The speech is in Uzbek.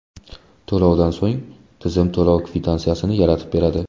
To‘lovdan so‘ng, tizim to‘lov kvitansiyasini yaratib beradi.